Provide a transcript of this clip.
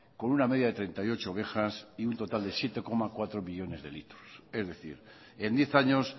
con una media de treinta y ocho ovejas y un total de siete coma cuatro millónes de litros es decir en diez años